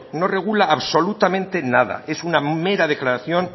no regula absolutamente nada es una mera declaración